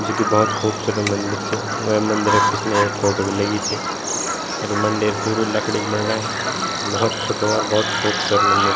जु कि भौत खूबसूरत मंदिर च वे मंदिरे क पिछने एक फोटो भी लगीं च अर वू मंदिर पूरू लकड़ी क बणनाई भौत छुट्टो और भौत खूबसूरत मंदिर।